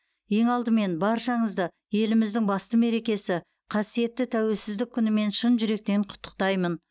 ең алдымен баршаңызды еліміздің басты мерекесі қасиетті тәуелсіздік күнімен шын жүректен құттықтаймын